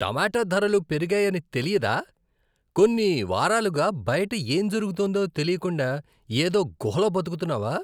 టమాటా ధరలు పెరిగాయని తెలియదా? కొన్ని వారాలుగా బయట ఏం జరుగుతోందో తెలియకుండా ఏదో గుహలో బతుకుతున్నావా?